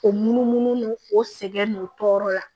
O munumunu n'o o sɛgɛn n'o tɔɔrɔ la